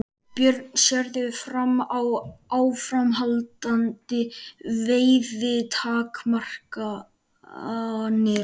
Björn: Sérðu fram á áframhaldandi veiðitakmarkanir?